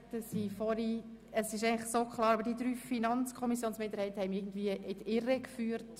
Die verschiedenen FiKo-Minderheiten haben mich in die Irre geführt.